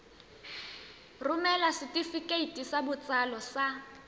romela setefikeiti sa botsalo sa